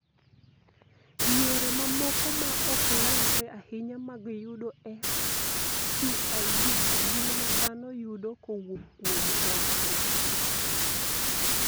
Yore mamoko ma ok landre ahinya mag yudo SCID, gin ma dhano yudo kowuok kuom kothgi.